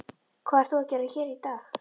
Hvað ert þú að gera hér í dag?